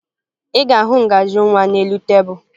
Ị ga-ahụ ngaji nwa n'elu tebulu